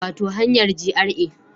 Wato hanyar GRA